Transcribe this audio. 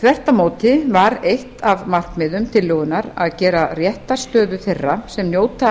þvert á móti var eitt af markmiðum tillögunnar að gera réttarstöðu þeirra sem njóta